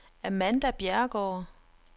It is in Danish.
Amanda Bjerregaard